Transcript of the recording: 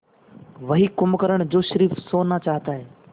वही कुंभकर्ण जो स़िर्फ सोना चाहता है